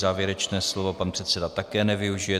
Závěrečné slovo pan předseda také nevyužije.